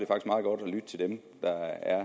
lytte til dem der er